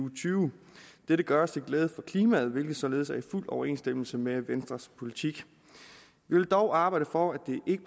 og tyve dette gøres til glæde for klimaet hvilket således er i fuld overensstemmelse med venstres politik vi vil dog arbejde for at der ikke